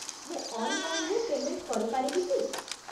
ମୁଁ ଅନ୍‌ଲାଇନ୍‌ରେ ପେମେଣ୍ଟ କରିପାରିବି କି?